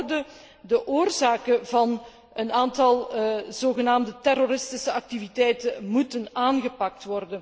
Met andere woorden, de oorzaken van een aantal zogenaamde terroristische activiteiten moeten worden aangepakt.